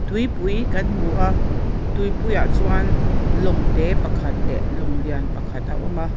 tuipui kan hmu a tupuiah chuan lawng te pakhat leh lawng lian pakhat a awm a.